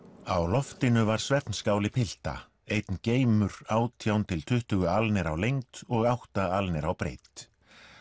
á loftinu var pilta einn geimur átján til tuttugu álnir á lengd og átta álnir á breidd